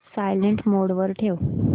silent mode वर ठेव